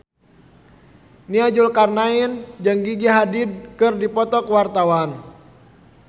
Nia Zulkarnaen jeung Gigi Hadid keur dipoto ku wartawan